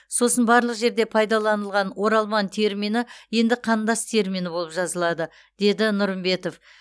сосын барлық жерде пайдаланылған оралман термині енді қандас термині болып жазылады деді нұрымбетов